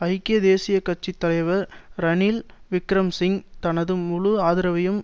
ஐக்கிய தேசிய கட்சி தலைவர் ரணில் விக்கிரமசிங்க தனது முழு ஆதரவையும்